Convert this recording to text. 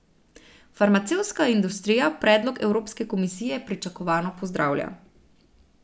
Farmacevtska industrija predlog evropske komisije pričakovano pozdravlja.